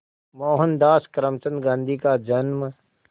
मोहनदास करमचंद गांधी का जन्म